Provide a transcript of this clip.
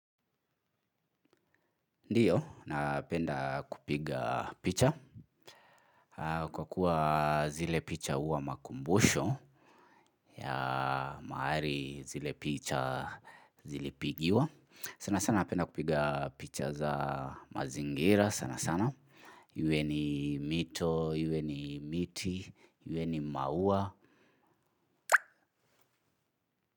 Ndiyo, napenda kupiga picha kwa kuwa zile picha uwa makumbusho ya maari zile picha zilipigiwa. Sana sana napenda kupiga picha za mazingira sana sana. Iwe ni mito iwe ni miti iwe ni maua.